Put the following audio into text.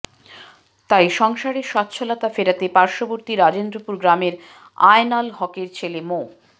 তাই সংসারে স্বচ্ছলতা ফেরাতে পার্শ্ববর্তী রাজেন্দ্রপুর গ্রামের আয়নাল হকের ছেলে মো